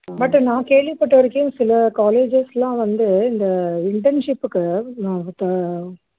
but நான் கேள்விப்பட்ட வரைக்கும் சில colleges லாம் வந்து இந்த internship க்கு